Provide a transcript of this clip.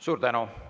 Suur tänu!